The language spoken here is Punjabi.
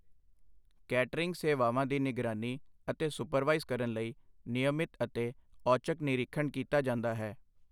ਕੈਟਰਿੰਗ ਸੇਵਾਵਾਂ ਦੀ ਨਿਗਰਾਨੀ ਅਤੇ ਸੂਪਰਵਾਇਜ਼ ਕਰਨ ਲਈ ਨਿਯਮਿਤ ਅਤੇ ਔਚਕ ਨਿਰੀਖਣ ਕੀਤਾ ਜਾਂਦਾ ਹੈ।